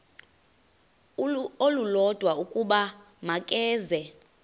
olulodwa ukuba makeze